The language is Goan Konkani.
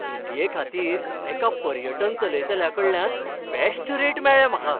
सुटयेखातीर एका पर्यटन चलयतल्याकडल्यान बॅश्ट रेट मेळ्ळे म्हाका.